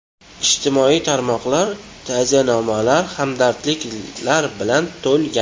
Ijtimoiy tarmoqlar ta’ziyanomalar, hamdardliklar bilan to‘lgan.